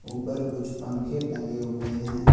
ऊपर कुछ पंखे टंगे हुए हैं।